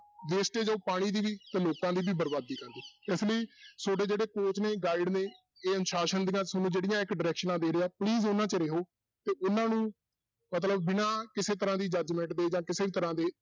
wastage ਉਹ ਪਾਣੀ ਦੀ ਵੀ ਤੇ ਲੋਕਾਂ ਦੀ ਵੀ ਬਰਬਾਦੀ ਇਸ ਲਈ ਤੁਹਾਡੇ ਜਿਹੜੇ coach ਨੇ guide ਨੇ ਇਹ ਅਨੁਸਾਸਨ ਦੀਆਂ ਤੁਹਾਨੂੰ ਜਿਹੜੀਆਂ ਇੱਕ ਡਾਇਰੈਕਸਨਾਂ ਦੇ ਰਿਹਾ please ਉਹਨਾਂ 'ਚ ਰਹਿਓ, ਤੇ ਉਹਨਾਂ ਨੂੰ ਮਤਲਬ ਬਿਨਾਂ ਕਿਸੇ ਤਰ੍ਹਾਂ ਦੀ judgement ਦੇ ਜਾਂ ਕਿਸੇ ਤਰ੍ਹਾਂ ਦੇ